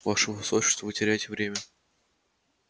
ваше высочество вы теряете время